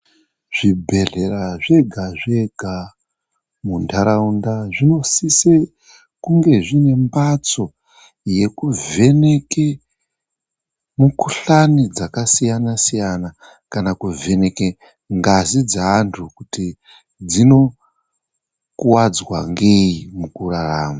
Zvibhedhlera zvega-zvega muntaraunda zvinosise kunge zvine mbatso yekuvheneke mikuhlani dzakasiyana-siyana kana kuvheneke ngazi dzeantu kuti dzinokuwadzwa ngei mukurarama.